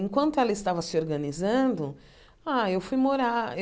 Enquanto ela estava se organizando, ah eu fui morar.